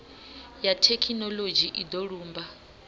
ya thekhinoḽodzhi i do lumba